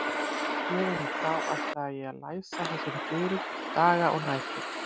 Héðan í frá ætlaði ég að læsa þessum dyrum, daga og nætur.